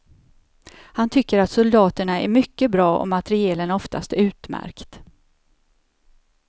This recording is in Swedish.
Han tycker att soldaterna är mycket bra och materielen oftast utmärkt.